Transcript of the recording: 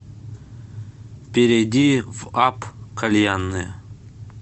перейди в апп кальянные